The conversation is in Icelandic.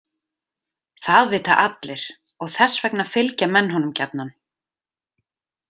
Það vita allir og þess vegna fylgja menn honum gjarnan.